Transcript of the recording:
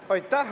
Aitäh!